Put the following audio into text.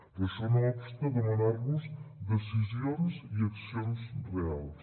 però això no obsta a demanar los decisions i accions reals